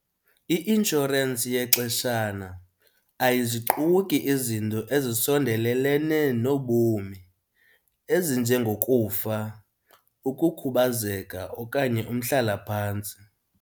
I-inshorensi yexeshana ayiziquki izinto ezisondelene nobomi ezinjengokufa, ukukhubazeka okanye umhlalaphantsi.